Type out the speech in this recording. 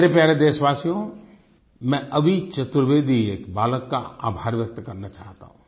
मेरे प्यारे देशवासियो मैं अभि चतुर्वेदी एक बालक का आभार व्यक्त करना चाहता हूँ